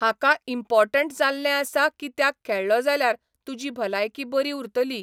हाका इम्पोर्टंट जाल्लें आसा कित्याक खेळ्ळो जाल्यार तुजी भलायकी बरी उरतली.